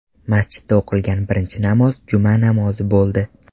Masjidda o‘qilgan birinchi namoz juma namozi bo‘ldi.